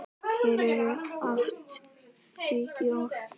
Hér eru oft hvít jól.